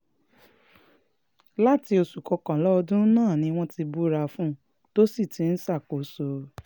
láti oṣù kọkànlá ọdún náà ni wọ́n ti búra fún un tó sì ti ń ṣàkóso